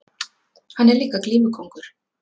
Hann er líka glímukóngur!